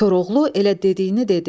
Koroğlu elə dediyini dedi.